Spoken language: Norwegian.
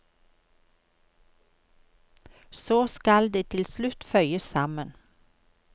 Så skal det til slutt føyes sammen.